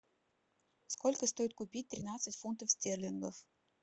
сколько стоит купить тринадцать фунтов стерлингов